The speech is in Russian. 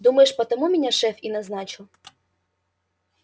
думаешь потому меня шеф и назначил